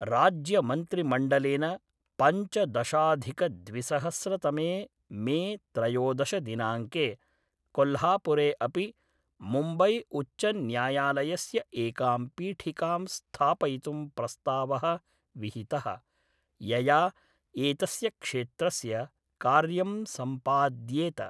राज्यमन्त्रिमण्डलेन पञ्चदशाधिकद्विसहस्रतमे मे त्रयोदश दिनाङ्के, कोल्हापुरे अपि मुम्बै उच्चन्यायालयस्य एकां पीठिकां स्थापयितुं प्रस्तावः विहितः, यया एतस्य क्षेत्रस्य कार्यं सम्पाद्येत।